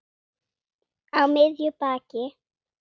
Á miðju baki.